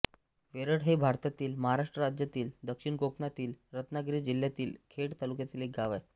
वेरळ हे भारतातील महाराष्ट्र राज्यातील दक्षिण कोकणातील रत्नागिरी जिल्ह्यातील खेड तालुक्यातील एक गाव आहे